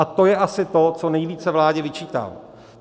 A to je asi to, co nejvíce vládě vyčítám.